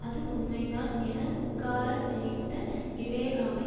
அது உண்மைதான் என உட்கார நினைத்த விவேகாவை